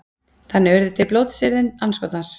þannig urðu til blótsyrðin andskotans